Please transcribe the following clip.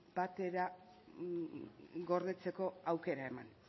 batera gordetzeko aukera eman